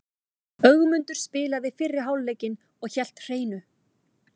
Ögmundur spilaði fyrri hálfleikinn og hélt hreinu.